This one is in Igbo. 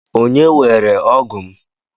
Onye weere ógụ́ m?